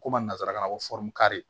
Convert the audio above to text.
Ko ma nanzarakan na ko